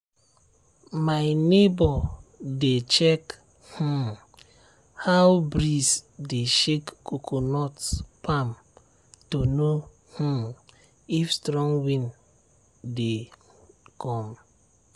my neighbour dey check um how breeze dey shake coconut palm to know um if strong wind dey um come.